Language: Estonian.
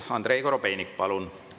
Andrei Korobeinik, palun!